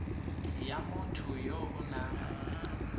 ya motho yo o nang